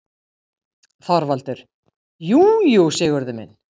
ÞORVALDUR: Jú, jú, Sigurður minn.